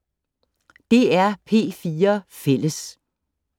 DR P4 Fælles